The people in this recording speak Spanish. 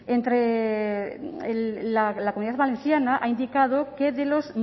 la comunidad valenciana ha indicado que de los